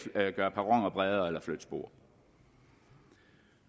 gøre perroner bredere eller flytte spor